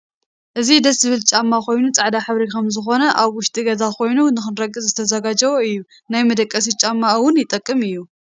እዚ ደስ ዝብ ጫማ ኮይኑ ፃዕዳ ሕብሪ ከም ዝኮነ ኣብ ውሽጢ ገዛ ኮይኑ ንክርገፅ ዝተዛጋጀወ እዩ ናይ መደቀሲ ጫማ እውን ይጠቅም እዩ።